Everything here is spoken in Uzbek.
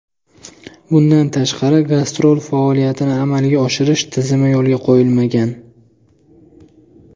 Bundan tashqari, gastrol faoliyatini amalga oshirish tizimi yo‘lga qo‘yilmagan.